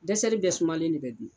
Dɛsɛli bɛɛ sumalen ne bɛ dun.